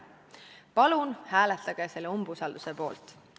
Palun hääletage selle umbusaldusavalduse poolt!